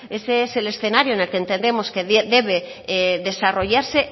ese es el escenario en el que entendemos debe desarrollarse